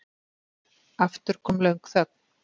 Aftur kom löng þögn.